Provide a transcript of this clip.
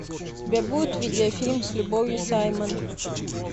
у тебя будет видеофильм с любовью саймон